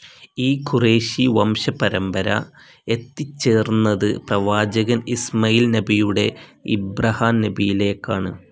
ഈ ഖുറേഷി വംശ പരമ്പര എത്തിച്ചേർന്നത് പ്രവാചകൻ ഇസ്മയിൽ നബിയുടെ ഇബ്രഹാം നബിയിലേക്കാണ്.